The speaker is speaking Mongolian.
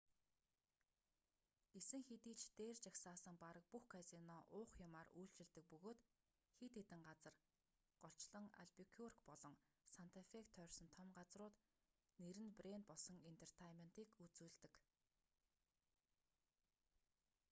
гэсэн хэдий ч дээр жагсаасан бараг бүх казино уух юмаар үйлчилдэг бөгөөд хэд хэдэн газар голчлон альбукюрк болон санта фег тойрсон том газрууд нэр нь брэнд болсон энтертайнментыг үзүүлдэг